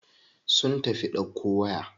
Sun tafi ɗauko waya.